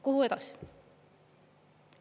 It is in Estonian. Kuhu edasi?